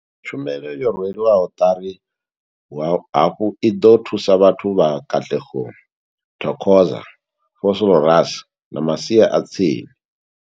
Tshumelo yo rwelwaho ṱari hafhu i ḓo thusa vhathu vha Katlehong, Thokoza, Vosloorus na masia a tsini.